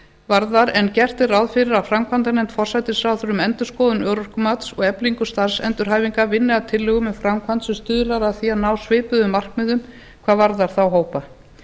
varðar en gert er ráð fyrir að framkvæmdanefnd forsætisráðherra um endurskoðun örorkumats og eflingu starfsendurhæfingar vinni að tillögum um framkvæmd sem stuðlar að því að ná svipuðum markmiðum hvað varðar þá hópa